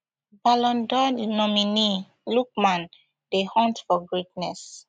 ballon dor nominee lookman dey hunt for greatness